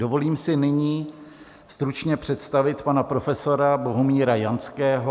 Dovolím si nyní stručně představit pana profesora Bohumíra Janského.